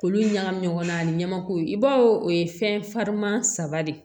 Olu ɲagamin ɲɔgɔn na a ɲamako i b'a fɔ o ye fɛn fariman saba de ye